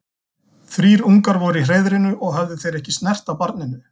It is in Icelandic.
Þrír ungar voru í hreiðrinu og höfðu þeir ekki snert á barninu.